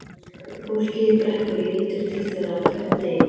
Fólkið í Brekku lítur til þeirra á hverjum degi.